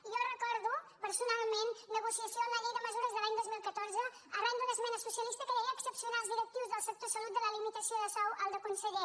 jo recordo personalment la negocia· ció en la llei de mesures de l’any dos mil catorze arran d’una esmena socialista que deia exceptuar els directius del sector salut de la limitació de sou al de conseller